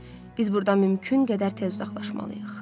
Biz buradan mümkün qədər tez uzaqlaşmalıyıq.